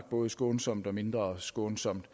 både skånsomt og mindre skånsomt